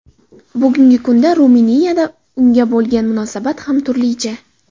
Bugungi kunda Ruminiyada unga bo‘lgan munosabat ham turlicha.